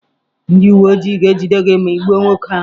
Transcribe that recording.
Ndị uwe ojii ga-ejide gị ma ị gbuo nwoke ahụ.